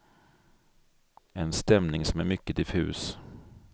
En stämning som är mycket diffus.